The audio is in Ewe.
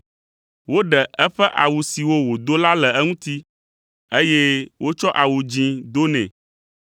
Woɖe eƒe awu siwo wòdo la le eŋuti, eye wotsɔ awu dzĩ do nɛ,